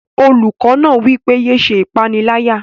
Olùkọ́ náà wí pé, "yé se ìpánìyálà